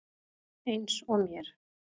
Eins og mér.